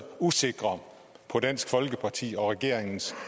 usikre på dansk folkepartis og regeringens